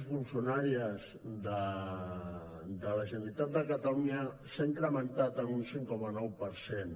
i funcionàries de la generalitat de catalunya s’ha incrementat en un cinc coma nou per cent